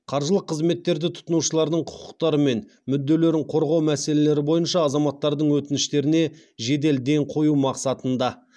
қаржылық қызметтерді тұтынушылардың құқықтары мен мүдделерін қорғау мәселелері бойынша азаматтардың өтініштеріне жедел ден қою мақсатында